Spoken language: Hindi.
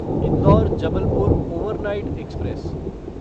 indoor Jabalpur overnight express